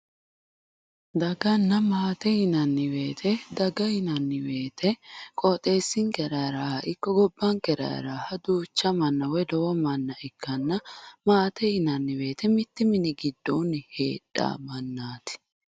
Daganna maate yinanni woyte daga yinanni woyte qooxeessinkera heeraaha ikko woyi gobbankera heeraaha duucha manna woyi lowo manna ikkanna maate yinanni woyte mittu mini goddoonni heedhanno mannaati